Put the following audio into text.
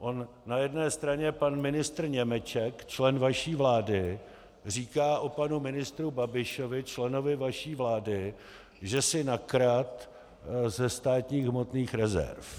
On na jedné straně pan ministr Němeček, člen vaší vlády, říká o panu ministru Babišovi, členovi vaší vlády, že si nakradl ze státních hmotných rezerv.